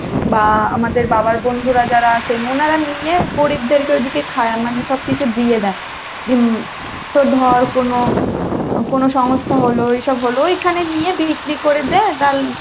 বা আমাদের বাবার বন্ধুরা যারা আছেন উনারা নিয়ে গরীবদের কে ওদিকে খাওয়ায় মানে সবকিছু দিয়ে দেয় যেমন তো ধর কোনো, কোনো সংস্থা হলো এসব হলো ঐখানে নিয়ে বিক্রি করে দেয়